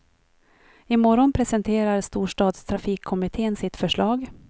I morgon presenterar storstadstrafikkommitten sitt förslag.